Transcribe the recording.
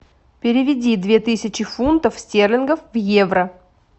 переведи две тысячи фунтов стерлингов в евро